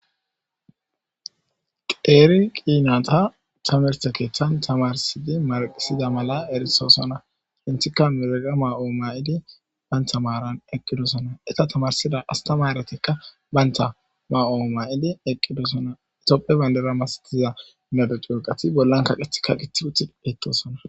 Qeeri qiina ta tamerta keeththan tamarsidi marqisida mala erisoosona hinthikka miraga ma7oo mayidi bayntha maaran eqqidosona eta tamarsida astamaretikka baynta ma7oo may7idi eqqidosona itoppe bayndera mastiza nedo cyooqati bollankaqeth ka qiti uti ettosona